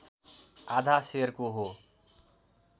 आधा सेरको हो